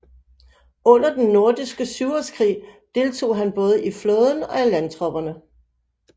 Under Den Nordiske Syvårskrig deltog han både i flåden og landtropperne